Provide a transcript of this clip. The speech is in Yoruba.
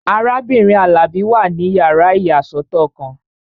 Arábìnrin Alabi wà ní yàrá ìyàsọ́tọ̀ kan